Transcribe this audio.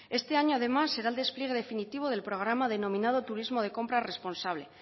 este año además será el despliegue definitivo del programa denominado turismo de compra responsable